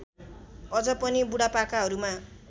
अझ पनि बुढापाकाहरूमा